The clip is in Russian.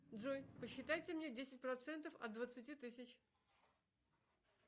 джой посчитайте мне десять процентов от двадцати тысяч